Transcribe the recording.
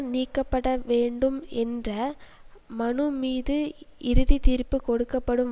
நீக்கப்பட வேண்டும் என்ற மனு மீது இறுதி தீர்ப்பு கொடுக்க படும்